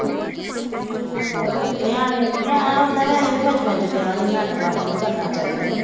ਨਿਆਣੇ, ਨਿਆਣੇ ਓਦਾਂ ਵੀ ਵੈਸੇ ਵੀ ਬਚਪਨ ਚ ਵਿਆਹ ਨਹੀਂ ਨਿਆਣੇਪਨ ਚ ਨਹੀਂ ਕਰਨਾ ਚਾਹੀਦਾ।